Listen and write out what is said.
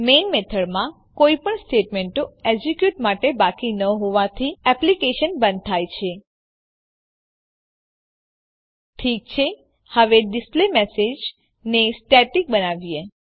main મેથડમાં કોઈપણ સ્ટેટમેંટો એક્ઝેક્યુટ માટે બાકી ન હોવાથી એપ્લીકેશન બંધ થાય છે ઠીક છે હવે ડિસ્પ્લેમેસેજ ને સ્ટેટિક બનાવીએ